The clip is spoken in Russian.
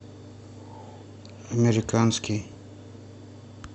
американский